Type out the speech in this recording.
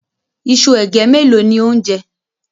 Iṣu ègé mélòó ni ó ń jẹ?